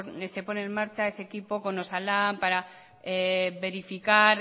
se ponen en marcha ese tipo con osalan para verificar